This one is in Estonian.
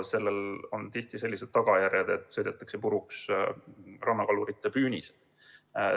Sellel on tihti sellised tagajärjed, et sõidetakse puruks rannakalurite püünised.